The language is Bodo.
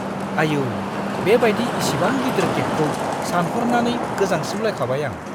आयौ, बेबायदि इसिबां गिलिर केकखौ सानहरनानै गोजांस्रिउलायखाबाय आं!